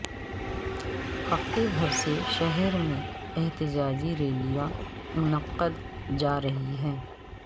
ہفتے بھر سے شہر میں احتجاجی ریلیاں منعقد جا رہی ہیں